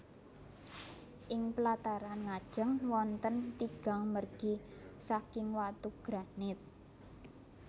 Ing plataran ngajeng wonten tigang mergi saking watu granit